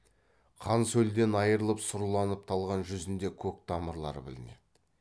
қан сөлден айрылып сұрланып талған жүзінде көк тамырлары білінеді